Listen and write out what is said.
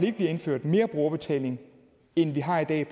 ikke bliver indført mere brugerbetaling end vi har i dag